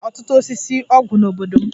E nwere ọtụtụ osisi ọgwụ n'obodo m.